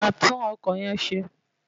Wàá tún ọkọ̀ yẹn ṣe!